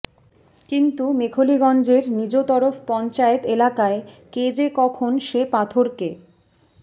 কিন্তু মেখলিগঞ্জের নিজতরফ পঞ্চায়েত এলাকায় কে যে কখন সে পাথরকে